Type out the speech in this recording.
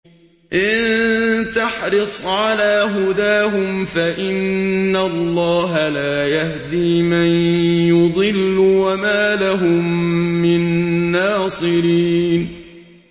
إِن تَحْرِصْ عَلَىٰ هُدَاهُمْ فَإِنَّ اللَّهَ لَا يَهْدِي مَن يُضِلُّ ۖ وَمَا لَهُم مِّن نَّاصِرِينَ